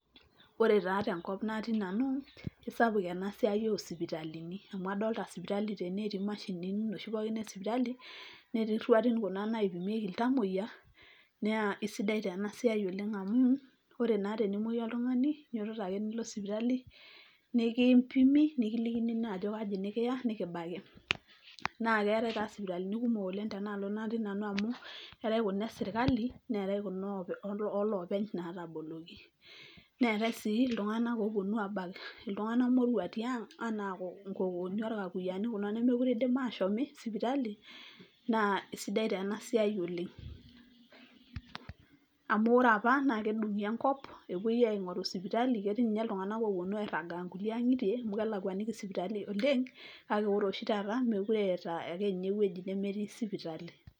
Ore taa enkop natii nanu kisapuk ena siai osipitalini amu adolta sipitali tene , etii mashini noshi pookin e sipitali , netii iruati kuna naipimieki iltamoyia . Naa isidai taa ena siai oleng amu ore taa tenemwoyu oltungani , ninyototo ake nilo sipitali, nikimpimi , nikilikini naa ajo kaji nikiya , nikibaki. Naa keetae taa sipitalini kumok tenaalo natii nanu amu eetae kuna esirkali neetae kuna oloopeny nataboloki. Neetae sii iltunganak oponu abak iltunganak moruak tiang anaa inkokooni ,orkakuyiaani kuna nemekure indim ashomi sipitali naa isidai taa ena siai oleng. Amu ore apa naa kedungi enkop epuoi apuo aingoru sipitali etii ninye oponu airagaa nkulie angitie amu kelakwaniki isipitalini oleng kake ore oshi taata mekure eeta ake ninye ewueji nemetii sipitali.